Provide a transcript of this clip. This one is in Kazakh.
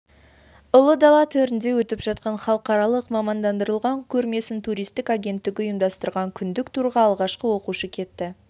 ұл дала төрінде өтіп жатқан халықаралық мамандандырылған көрмесіне туристтік агенттігі ұйымдастырған күндік турға алғашқы оқушы кетті